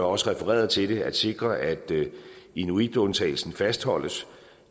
også refereret til det at sikre at inuitundtagelsen fastholdes